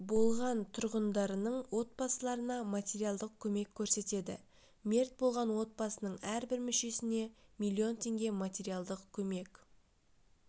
болған тұрғындарының отбасыларына материалдық көмек көрсетеді мерт болған отбасының әрбір мүшесіне миллион теңге материалдық көмек